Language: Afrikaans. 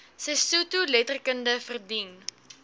sesotho letterkunde verdien